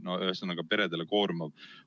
Ühesõnaga, peredele on see väga koormav.